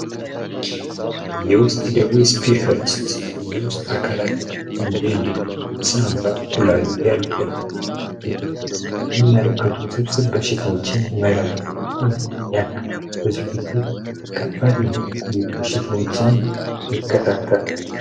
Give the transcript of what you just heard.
የውስጥ ደዌ ስፔሽሊስት የውስጥ አካላትን እንዴ ለም ሳንባ ኩላሊት የመሳሰሉትን የሚመለከቱ ስብስ በሽተዎችን ይመረመራል ያክማል ብዙ ጊዜ ከባድ የሆኑ በሽተዎችን ይከታተላል።